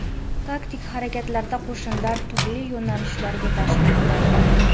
Taktik harakatlarda qo‘shinlar turli yo‘nalishlarga tashlandi.